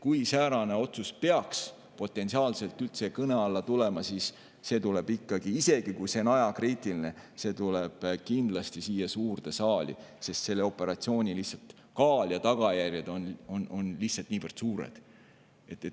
Kui säärane otsus peaks potentsiaalselt üldse kõne alla tulema, siis isegi kui see on ajakriitiline, tuleks see kindlasti siia suurde saali, sest sellise operatsiooni kaal ja tagajärjed oleksid lihtsalt niivõrd suured.